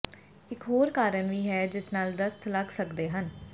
ਇਕ ਹੋਰ ਕਾਰਨ ਵੀ ਹੈ ਜਿਸ ਨਾਲ ਦਸਤ ਲੱਗ ਸਕਦੇ ਹਨ